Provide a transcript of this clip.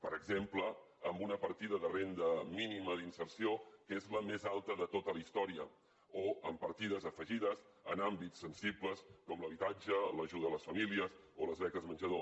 per exemple amb una partida de renda mínima d’inserció que és la més alta de tota la història o amb partides afegides en àmbits sensibles com l’habitatge l’ajuda a les famílies o les beques menjador